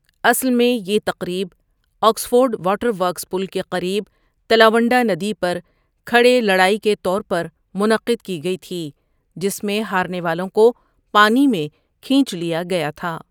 اصل میں، یہ تقریب آکسفورڈ واٹر ورکس پل کے قریب تلاونڈا ندی پر کھڑے لڑائی کے طور پر منعقد کی گئی تھی جس میں ہارنے والوں کو پانی میں کھینچ لیا گیا تھا۔